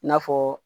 I n'a fɔ